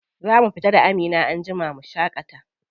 Za mu fita da Amina anjima mu shaƙata.